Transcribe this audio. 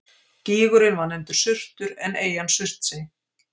Gígurinn var nefndur Surtur en eyjan Surtsey.